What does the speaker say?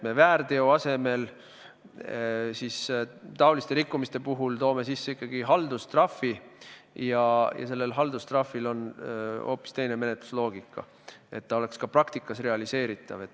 Me väärteo asemel taoliste rikkumiste puhul toome sisse ikkagi haldustrahvi ja haldustrahvil on hoopis teine menetlusloogika, et ta oleks ka praktikas realiseeritav.